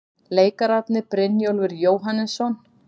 Leikararnir, Brynjólfur Jóhannesson